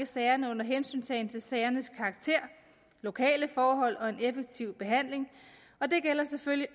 sagerne under hensyntagen til sagernes karakter lokale forhold og en effektiv behandling og det gælder selvfølgelig